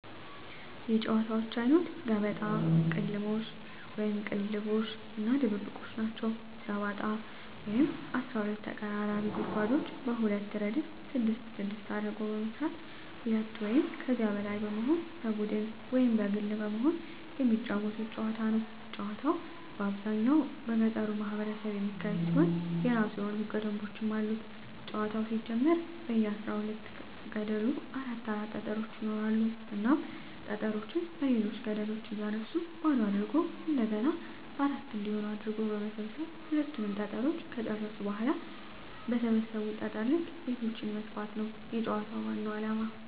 የጨዋታወች አይነት ገበጣ፣ ቅልሞሽ(ቅልልቦሽ) እና ድብብቆሽ ናቸዉ። ገበጣ ጨዋታ 12 ተቀራራቢ ጉድጓዶችን በሁለት እረድፍ ስድስት ስድስት አድርጎ በመስራት ሁለት ወይም ከዚያ በላይ በመሆን በቡድን ወይም በግል በመሆን የመጫወቱት ጨዋታ ነዉ። ጨዋታዉ በአብዛኛዉ በገጠሩ ማህበረሰብ የሚካሄድ ሲሆን የእራሱ የሆኑ ህገ ደንቦችም አሉት ጨዋታዉ ሲጀመር በየ አስራ ሁለት ገደሉ አራት አራት ጠጠሮች ይኖራሉ እናም ጠጠሮችን በሌሎች ገደሎች እያነሱ ባዶ አድርጎ እንደገና አራት እንዲሆን አድርጎ በመሰብ ሰብ ሁሉንም ጠጠሮች ከጨረሱ በኋላ በሰበሰቡት ጠጠር ልክ ቤቶችን መስፋት ነዉ የጨዋታዉ ዋናዉ አላማ።